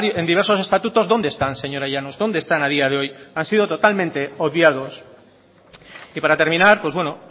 en diversos estatutos dónde están señora llanos dónde están a día de hoy han sido totalmente obviados y para terminar pues bueno